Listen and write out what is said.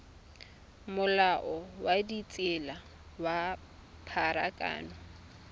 molao wa ditsela wa pharakano